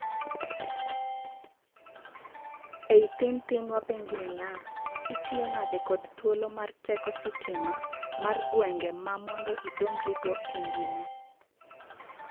Ei thin thin wapenji niya, itiyo nade kod thuolo mar teko sitima mar gwengwe mar mondo idongri go engima?